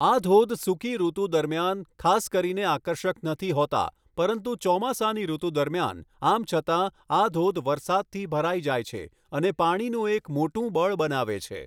આ ધોધ સૂકી ઋતુ દરમિયાન ખાસ કરીને આકર્ષક નથી હોતા, પરંતુ ચોમાસાની ઋતુ દરમિયાન, આમ છતાં, આ ધોધ વરસાદથી ભરાઈ જાય છે અને પાણીનું એક મોટું બળ બનાવે છે.